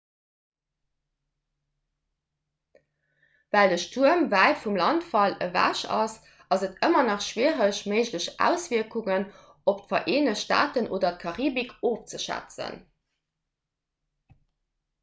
well de stuerm wäit vum landfall ewech ass ass et ëmmer nach schwiereg méiglech auswierkungen op d'vereenegt staaten oder d'karibik ofzeschätzen